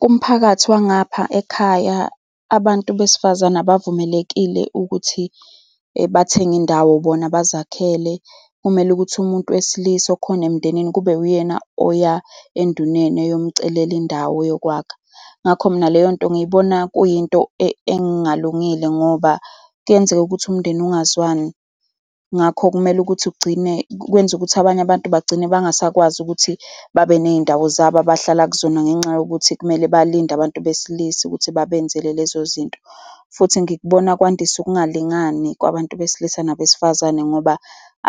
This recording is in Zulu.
Kumphakathi wangapha ekhaya, abantu besifazane abavumelekile ukuthi bathenge indawo bona bazakhele. Kumele ukuthi umuntu wesilisa okhona emndenini kube uyena oya enduneni eyomcelela indawo yokwakha. Ngakho mina leyo nto ngiyibona kuyinto engalungile ngoba kuyenzeka ukuthi umndeni ungazwani. Ngakho kumele ukuthi ugcine kwenza ukuthi abanye abantu bagcine bengasakwazi ukuthi babe ney'ndawo zabo abahlala kuzona ngenxa yokuthi kumele balinde abantu besilisa ukuthi babenzele lezo zinto. Futhi ngikubona kwandisa ukungalingani kwabantu besilisa nabesifazane, ngoba